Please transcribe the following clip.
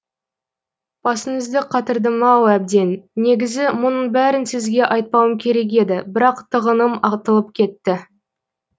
басыңызды қатырдым ау әбден негізі мұның бәрін сізге айтпауым керек еді бірақ тығыным атылып кетті